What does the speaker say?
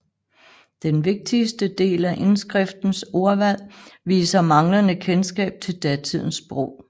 Den vigtigste del af indskriftens ordvalg viser manglende kendskab til datidens sprog